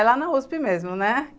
É lá na uspi mesmo, né?